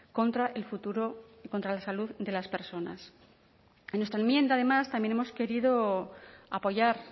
contra el futuro contra la salud de las personas en nuestra enmienda además también hemos querido apoyar